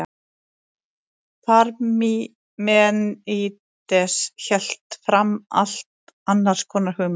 parmenídes hélt fram allt annars konar hugmyndum